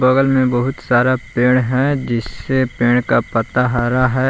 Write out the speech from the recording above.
बगल में बहुत सारा पेड़ है जिससे पेड़ का पत्ता हरा है।